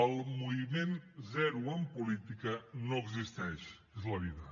el moviment zero en política no existeix és la vida